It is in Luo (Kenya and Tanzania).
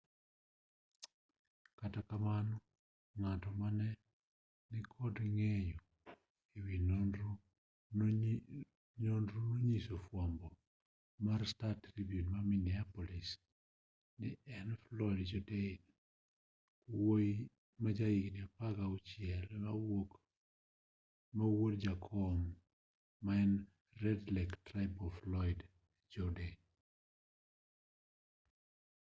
kata kamano ng'ato mane ni kod ng'eyo e wi nonrono nonyiso od fwambo mar star-tribune ma minneapolis ni ne en floyd jourdain wuoyi ma ja higni 16 ma wuod jakom mar red lake tribal floyd jourdain